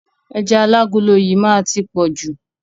Ẹja alágolo yìí má á ti pọ̀jù.